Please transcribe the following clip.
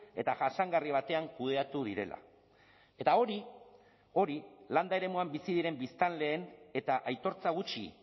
eta jasangarri batean kudeatu direla eta hori hori landa eremuan bizi diren biztanleen eta aitortza gutxi